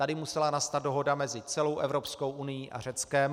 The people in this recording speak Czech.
Tady musela nastat dohoda mezi celou Evropskou unií a Řeckem.